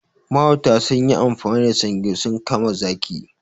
Mahauta sunyi amfani da sange sun kama zaki.